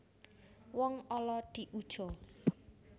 Wong ala diuja